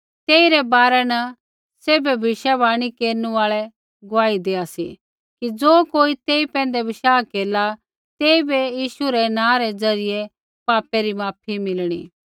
तेइरै बारै न सैभै भविष्यवाणी केरनु आल़ा गुआही देआ सी कि ज़ो कोई तेई पैंधै विश्वास केरला तेइबै यीशु रै नाँ रै ज़रियै पापै री माफी मिलणी